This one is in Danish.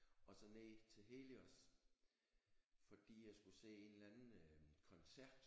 Og så ned til Helios fordi jeg skulle se en eller anden øh koncert